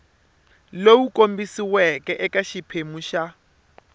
lowu kombisiweke eka xiphemu xa